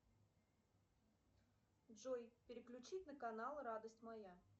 джой переключить на канал радость моя